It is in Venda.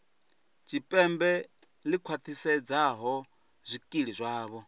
tshipembe ḽi khwaṱhisedzaho zwikili zwavho